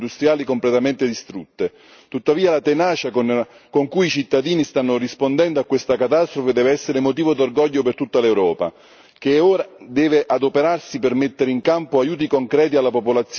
Tuttavia la tenacia con cui i cittadini stanno rispondendo a questa catastrofe deve essere motivo d'orgoglio per tutta l'Europa, che ora deve adoperarsi per mettere in campo aiuti concreti alla popolazione ed al tessuto economico e produttivo.